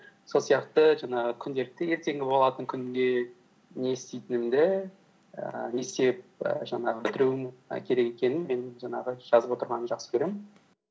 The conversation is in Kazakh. сол сияқты жаңағы күнделікті ертеңгі болатын күнде не істейтінімді ііі не істеп і жаңағы бітіруім і керек екенін мен жаңағы жазып отырғанды жақсы көремін